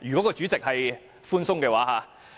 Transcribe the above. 如果主席寬鬆處理，可不設時限。